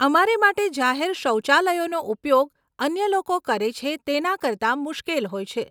અમારે માટે જાહેર શૌચાલયોનો ઉપયોગ અન્ય લોકો કરે છે તેના કરતા મુશ્કેલ હોય છે.